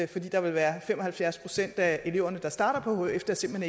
der vil være fem og halvfjerds procent af de elever der starter på hf der simpelt